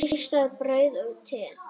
Ristað brauð og te.